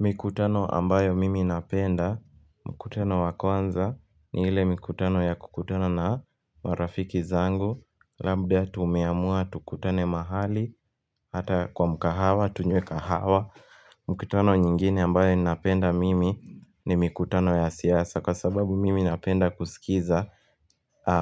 Mikutano ambayo mimi napenda, mkutano wa kwanza ni ile mikutano ya kukutana na marafiki zangu Labda tumeamua tukutane mahali, hata kwa mkahawa, tunywe kahawa Mikutano nyingine ambayo ninapenda mimi ni mikutano ya siasa kwa sababu mimi napenda kusikiza